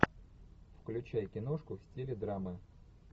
включай киношку в стиле драмы